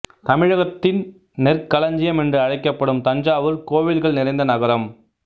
தமிழகத்தின் நெற்களஞ்சியம் என்று அழைக்கப்படும் தஞ்சாவூர் கோவில்கள் நிறைந்த நகரம்